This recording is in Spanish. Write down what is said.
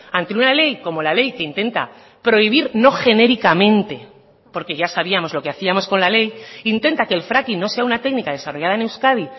ante una ley como la ley que intenta prohibir no genéricamente porque ya sabíamos lo que hacíamos con la ley intenta que el fracking no sea una técnica desarrollada en euskadi